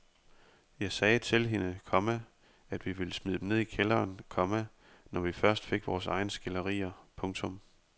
Jeg sagde til hende, komma at vi ville smide dem ned i kælderen, komma når vi først fik vores egne skilderier. punktum